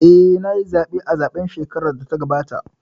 Eh, nayi zaɓe a zaɓen shekarar da ta gabata